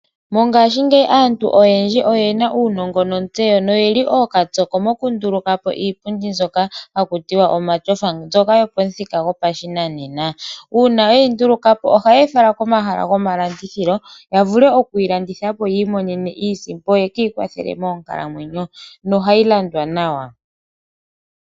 Mongashingeyi aantu oyendji oyena uunongo nontseyo noyeli ookapyoko mokundulukapo iipundi haku tiwa omatyofa, mbyoka yopomuthika gopashinanena. Uuna weyi ndulukapo ohayeyi fala komahala gomalandithilo, yavule okuyi landithapo yiimonene iisimpo, yeki ikwathele moonkalamwenyo nohayi landwa nawa.